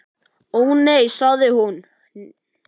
Ó, nei sagði hún, nei.